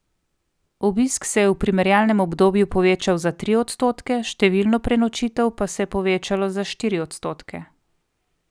Obisk se je v primerjalnem obdobju povečal za tri odstotke, številno prenočitev pa se je povečalo za štiri odstotke.